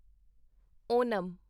Onam